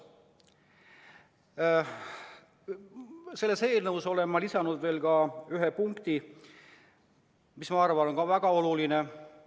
Sellesse eelnõusse olen ma lisanud veel ühe punkti, mis minu arvates on samuti väga oluline.